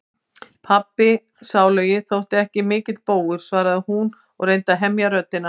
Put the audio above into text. Pabbi sálugi þótti ekki mikill bógur, svaraði hún og reyndi að hemja röddina.